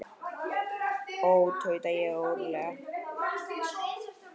Ó, tauta ég óróleg.